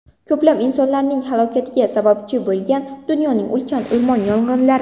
Ko‘plab insonlarning halokatiga sababchi bo‘lgan dunyoning ulkan o‘rmon yong‘inlari.